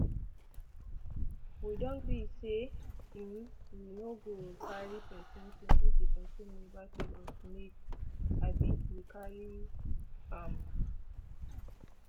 we don gree say um we no go carry pesin ting if di pesin never tell us make um we carry um am